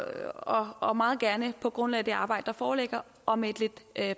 og meget gerne på grundlag af det arbejde der foreligger og med et lidt